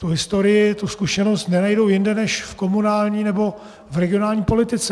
Tu historii, tu zkušenost nenajdou jinde než v komunální nebo v regionální politice.